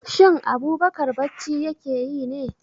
Shin Abubakar bacci ya ke yi ne?